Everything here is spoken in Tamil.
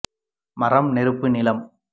மரம் நெருப்பு நிலம்